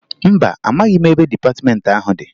Mba, amaghị m ebe dịpatịmentị ahụ dị